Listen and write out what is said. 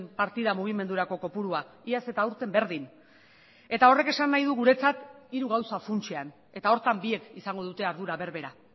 partida mugimendurako kopurua iaz eta aurten berdin eta horrek esan nahi du guretzat hiru gauza funtsean eta horretan biek izango dute ardura berbera